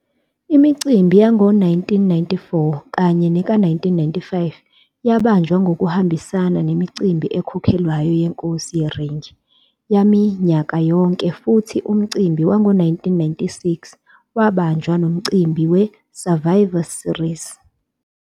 Imicimbi yango-1994 kanye neka-1995 yabanjwa ngokuhambisana nemicimbi ekhokhelwayo yeNkosi yeRing yaminyaka yonke futhi umcimbi wango-1996 wabanjwa nomcimbi we- Survivor Series.